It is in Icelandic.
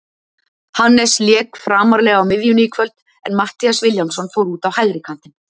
Hannes lék framarlega á miðjunni í kvöld en Matthías Vilhjálmsson fór út á hægri kantinn.